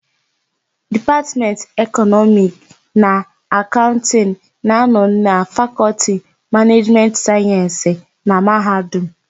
Dipatmentị Ekọnọmiki na Akaụntịnụ na-anọ na lFakọlti Manejimentị Sayensị na Mahadum.